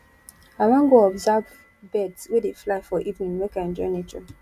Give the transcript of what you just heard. i wan go observe birds wey dey fly for evening make i enjoy nature